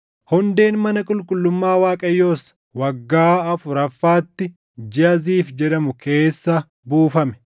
Hundeen mana qulqullummaa Waaqayyoos waggaa afuraffaatti jiʼa Ziif jedhamu keessa buufame.